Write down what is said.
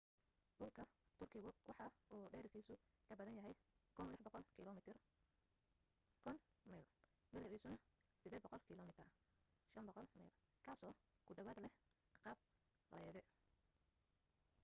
dhulka turkigu waxa uu dhererkiisu ka badan yahay 1,600 kilomitir 1,000 mi ballaciisuna 800 km 500 mi kaasoo ku dhawaad leh qaab laydi